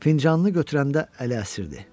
Fincanını götürəndə əli əsirdi.